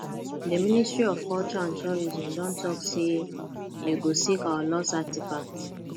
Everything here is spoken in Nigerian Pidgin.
the ministry of culture and tourism don talk say dey go seek our lost artefacts